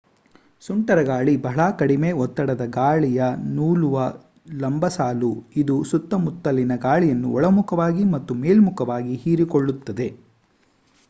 ಸುಂಟರಗಾಳಿ ಬಹಳ ಕಡಿಮೆ ಒತ್ತಡದ ಗಾಳಿಯ ನೂಲುವ ಲಂಬಸಾಲು ಇದು ಸುತ್ತಮುತ್ತಲಿನ ಗಾಳಿಯನ್ನು ಒಳಮುಖವಾಗಿ ಮತ್ತು ಮೇಲ್ಮುಖವಾಗಿ ಹೀರಿಕೊಳ್ಳುತ್ತದೆ